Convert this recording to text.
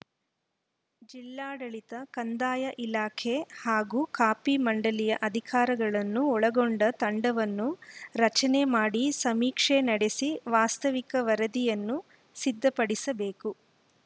ಜಿಲ್ಲಾಡಳಿತ ಕಂದಾಯ ಇಲಾಖೆ ಹಾಗೂ ಕಾಫಿ ಮಂಡಳಿಯ ಅಧಿಕಾರಿಗಳನ್ನು ಒಳಗೊಂಡ ತಂಡವನ್ನು ರಚನೆ ಮಾಡಿ ಸಮೀಕ್ಷೆ ನಡೆಸಿ ವಾಸ್ತವಿಕ ವರದಿಯನ್ನು ಸಿದ್ಧಪಡಿಸಬೇಕು